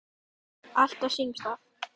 Allt á sínum stað.